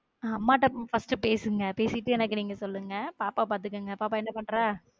அம்மாட்ட first பேசுங்க பேசிட்டு எனக்கு நீங்க சொல்லுங்க பாப்பாவ பாத்துக்கோங்க பாப்பா என்ன பண்றா?